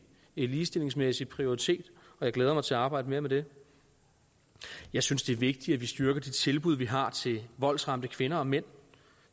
ligestillingsmæssig prioritet og jeg glæder mig til at arbejde mere med det jeg synes det er vigtigt at vi styrker de tilbud vi har til voldsramte kvinder og mænd